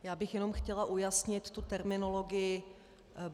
Já bych jenom chtěla ujasnit tu terminologii.